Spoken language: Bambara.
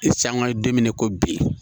Sanga ye don min na i ko bi